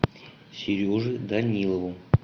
сереже данилову